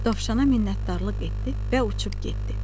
Dovşana minnətdarlıq etdi və uçub getdi.